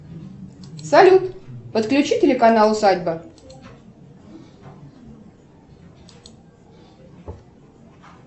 салют подключи телеканал усадьба